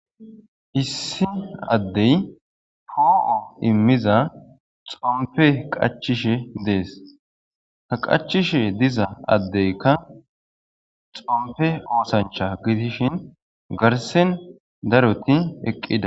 Issi addey poo immiza xommppe qachchishe dessi ha qachishe diiza addeykka xomppe oththanchcha gidishin garssen daaroti eqqida.